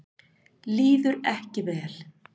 Líður ekki vel.